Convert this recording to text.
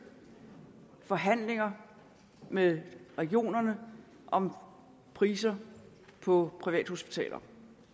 forhandlinger med regionerne om priser på privathospitaler